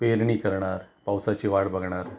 पेरणी करणार, पावसाची वाट बघणार,